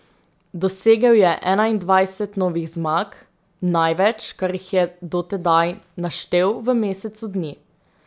Dosegel je enaindvajset novih zmag, največ, kar jih je do tedaj naštel v mesecu dni.